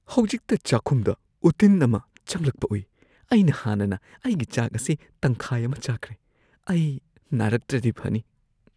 ꯍꯧꯖꯤꯛꯇ ꯆꯥꯛꯈꯨꯝꯗ ꯎꯇꯤꯟ ꯑꯃ ꯆꯪꯂꯛꯄ ꯎꯏ꯫ ꯑꯩꯅ ꯍꯥꯟꯅꯅ ꯑꯩꯒꯤ ꯆꯥꯛ ꯑꯁꯤ ꯇꯪꯈꯥꯏ ꯑꯃ ꯆꯥꯈ꯭ꯔꯦ꯫ ꯑꯩ ꯅꯥꯔꯛꯇ꯭ꯔꯗꯤ ꯐꯅꯤ꯫